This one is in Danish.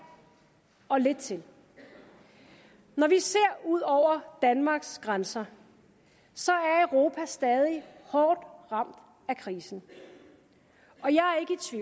og lidt til når vi ser ud over danmarks grænser er europa stadig hårdt ramt af krisen